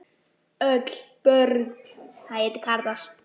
Öll börn